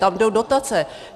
Tam jdou dotace.